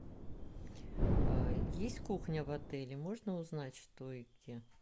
есть кухня в отеле можно узнать что и где